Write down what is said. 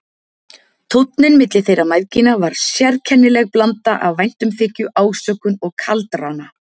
Tónninn milli þeirra mæðgina var sérkennileg blanda af væntumþykju, ásökun og kaldrana.